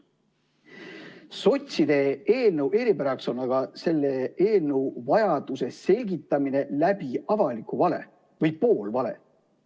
Sotside eelnõu eripäraks on aga selle eelnõu vajaduse selgitamine avaliku vale või poolvale abil.